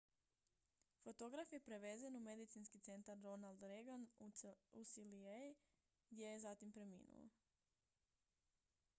fotograf je prevezen u medicinski centar ronald reagan ucla gdje je zatim preminuo